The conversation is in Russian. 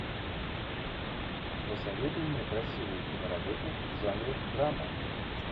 посоветуй мне красивую киноработу в жанре драма